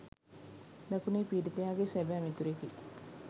දකුණේ පීඩිතයාගේ සැබෑ මිතුරෙකි.